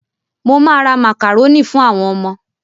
Mo ma ra màkàrónì fún àwọn ọmọ